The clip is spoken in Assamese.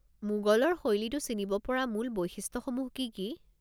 মোগলৰ শৈলীটো চিনিব পৰা মূল বৈশিষ্ট্যসমূহ কি কি?